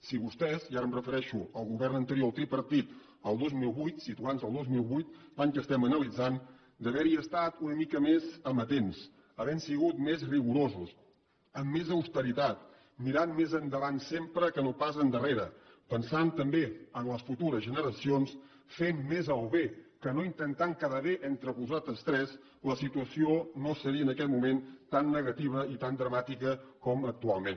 si vostès i ara em refereixo al govern anterior el tripartit el dos mil vuit situant nos al dos mil vuit l’any que estem analitzant hi haguessin estat una mica més amatents havent sigut més rigorosos amb més austeritat mirant més endavant sempre que no pas endarrere pensant també en les futures generacions fent més el bé que no intentant quedar bé entre vosaltres tres la situació no seria en aquest moment tan negativa i tan dramàtica com actualment